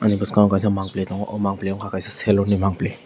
bini bwskango kaisa mangpili tongo oh mangpili ungkha salon ni mangpili.